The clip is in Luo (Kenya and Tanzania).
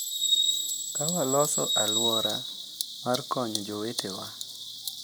Ka waloso alwora mar konyo jowetewa,